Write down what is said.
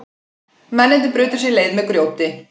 Mennirnir brutu sér leið með grjóti